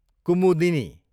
Kumudini